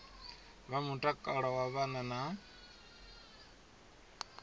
vha mutakalo wa vhana na